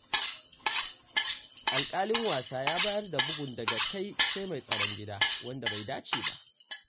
Alƙalin wasa ya bayar da bugun daga kai- sai- mai tsaron gida, wanda bai dace ba.